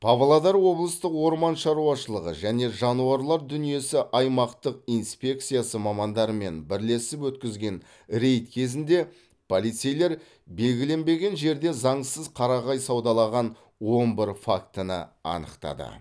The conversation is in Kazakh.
павлодар облыстық орман шаруашылығы және жануарлар дүниесі аймақтық инспекциясы мамандарымен бірлесіп өткізген рейд кезінде полицейлер белгіленбеген жерде заңсыз қарағай саудалаған он бір фактіні анықтады